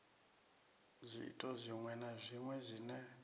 zwiito zwiṅwe na zwiṅwe zwine